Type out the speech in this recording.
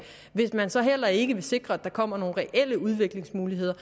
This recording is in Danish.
hvis man så heller ikke vil sikre at der kommer nogle reelle udviklingsmuligheder